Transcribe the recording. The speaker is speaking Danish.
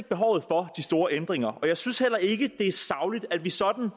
behovet for de store ændringer jeg synes heller ikke at det sagligt at vi sådan